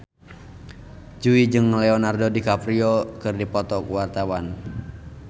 Jui jeung Leonardo DiCaprio keur dipoto ku wartawan